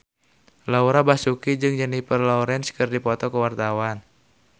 Laura Basuki jeung Jennifer Lawrence keur dipoto ku wartawan